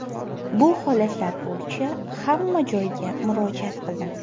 Bu holatlar bo‘yicha hamma joyga murojaat qildim.